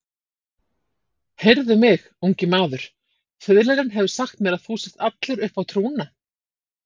Heyrðu mig, ungi maður, fiðlarinn hefur sagt mér að þú sért allur uppá trúna.